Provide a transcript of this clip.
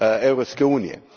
Europske unije.